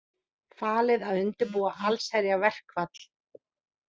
Falið að undirbúa allsherjarverkfall